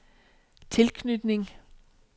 tilknytning